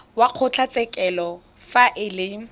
wa kgotlatshekelo fa e le